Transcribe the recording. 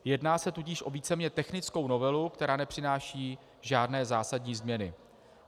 Jedná se tudíž o víceméně technickou novelu, která nepřináší žádné zásadní změny.